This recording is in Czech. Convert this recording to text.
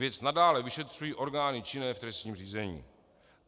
Věc nadále vyšetřují orgány činné v trestním řízení.